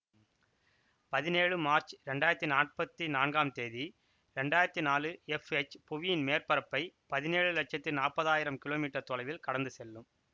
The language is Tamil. பதினேழு மார்ச் இரண்டாயிரத்தி நாற்பத்தி நான்காம் தேதி இரண்டாயிரத்தி நாலு எஃப்எச் புவியின் மேற்பரப்பை பதினேழு லட்சத்தி நாப்பதாயிரம் கிலோ மீட்டர் தொலைவில் கடந்து செல்லும்